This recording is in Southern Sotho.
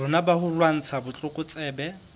rona ba ho lwantsha botlokotsebe